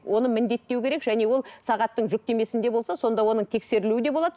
оны міндеттеу керек және ол сағаттың жүктемесінде болса сонда оның тексерілуі де болады